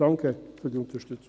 Danke für Ihre Unterstützung.